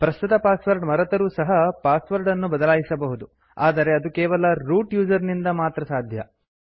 ಪ್ರಸ್ತುತ ಪಾಸ್ವರ್ಡ್ ಮರೆತರೂ ಸಹ ಪಾಸ್ವರಡ್ ಅನ್ನು ಬದಲಾಯಿಸಬಹುದು ಆದರೆ ಅದು ಕೇವಲ ರೂಟ್ ಯೂಸರ್ ಇಂದ ಮಾತ್ರ ಸಾಧ್ಯ